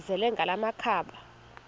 azele ngala makhaba